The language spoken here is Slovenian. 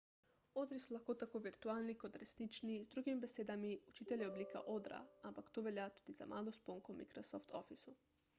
odri so lahko tako virtualni kot resnični z drugimi besedami učitelj je oblika odra ampak to velja tudi za malo sponko v microsoft officeu